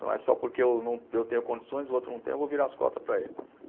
Não é só porque eu não, eu tenho condições e o outro não tem, eu vou virar as costas para ele.